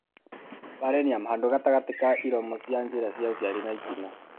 Perineum (handũ gatagatĩ ka iromo cia njĩra ya ũciari na itina).